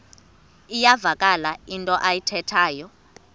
iyavakala into ayithethayo